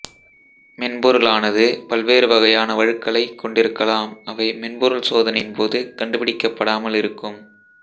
மென்பொருளானது பல்வேறு வகையான வழுக்களை கொண்டிருக்கலாம் அவை மென்பொருள் சோதனையின் போது கண்டுபிடிக்கபடாமல் இருக்கும்